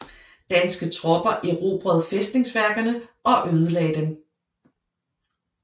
Danske tropper erobrede fæstningsværkerne og ødelagde dem